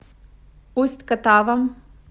усть катавом